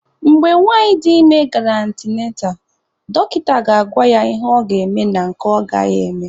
Mgbe nwanyị dị ime gara antịnantal, dọkịta ga-agwa ya ihe ọ ga-eme na nke ọ gaghị eme.